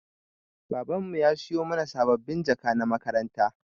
Baban mu ya siyo mana sabbabin jaka na makaranta.